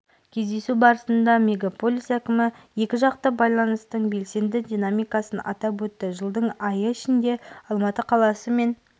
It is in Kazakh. кездесу барысында мегаполис әкімі екіжақты байланыстың белсенді динамикасын атап өтті жылдың айы ішінде алматы қаласы мен